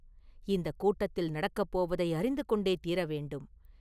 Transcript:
இந்தக் கூட்டத்தில் நடக்கப் போவதை அறிந்து கொண்டே தீரவேண்டும்!